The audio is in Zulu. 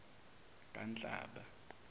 kanhlaba